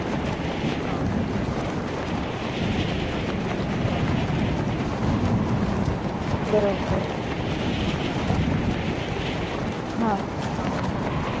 Facebook ला online यायला लागले. आणि free तुम्हाला ऐकवायला लागले त्याचं जे work आहे. कारण का तर त्यांच्याकडे कामच नव्हत.